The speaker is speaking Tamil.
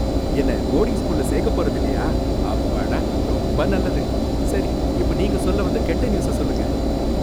என்ன போர்டிங் ஸ்கூல்ல சேக்கப் போறதில்லையா, அப்பாடா, ரொம்ப நல்லது. சரி இப்போ நீங்க சொல்ல வந்த கெட்ட நியூஸை சொல்லுங்க.